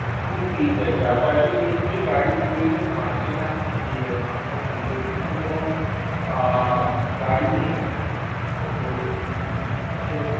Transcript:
আমি পেয়ে যাই যাতায়াতের জন্য যে গাড়ি প্রয়োজন হয় সেটা আমি পেয়ে যাই কারন আমার নিজস্ব তো কোন আ গাড়ি নেই তো সে রকম